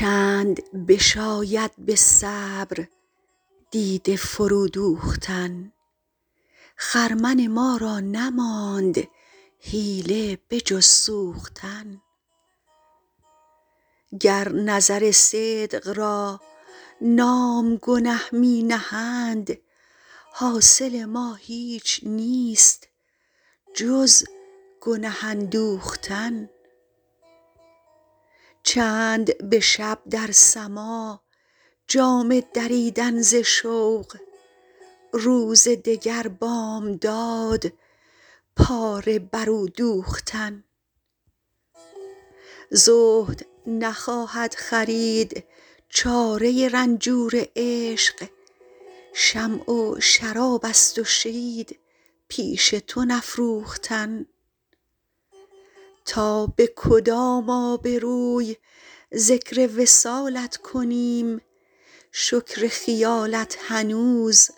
چند بشاید به صبر دیده فرو دوختن خرمن ما را نماند حیله به جز سوختن گر نظر صدق را نام گنه می نهند حاصل ما هیچ نیست جز گنه اندوختن چند به شب در سماع جامه دریدن ز شوق روز دگر بامداد پاره بر او دوختن زهد نخواهد خرید چاره رنجور عشق شمع و شراب است و شید پیش تو نفروختن تا به کدام آبروی ذکر وصالت کنیم شکر خیالت هنوز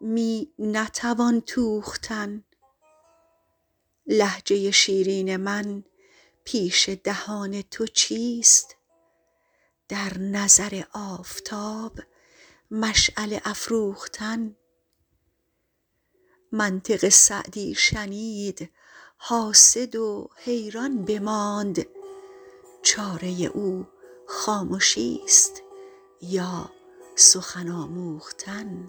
می نتوان توختن لهجه شیرین من پیش دهان تو چیست در نظر آفتاب مشعله افروختن منطق سعدی شنید حاسد و حیران بماند چاره او خامشیست یا سخن آموختن